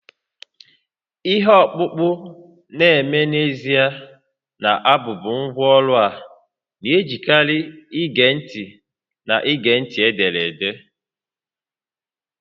Ihe ọkpụkpọ na-eme n'ezie na-abụbu ngwá ọrụ a na-ejikarị ege ntị na-ege ntị ederede